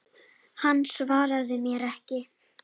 Hann svaraði mér ekki.